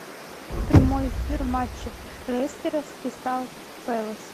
прямой эфир матча лестера с кристал пэлас